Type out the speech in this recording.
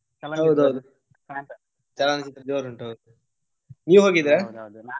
ಹೌದೌದು ಹೌದು. ಚಲನಚಿತ್ರ ಜೋರ್ ಉಂಟು ಹೌದು, ನೀವ್ .